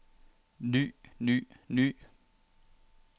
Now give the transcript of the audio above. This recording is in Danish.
ny ny ny